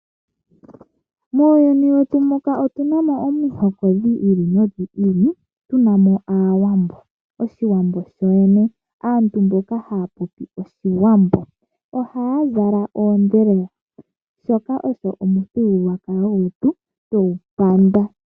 Muuyuni wetu muka otu na mo omihoko dhi ili nodhi ili tu na mo aawambo. Aantu mboka haya popi oshiwambo. Ohaya zala oondhelela shoka osho omuthigululwakalo gwetu twegu panda.